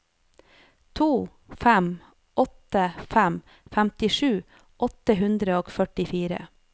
to fem åtte fem femtisju åtte hundre og førtifire